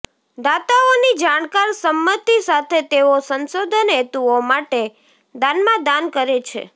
દાતાઓની જાણકાર સંમતિ સાથે તેઓ સંશોધન હેતુઓ માટે દાનમાં દાન કરે છે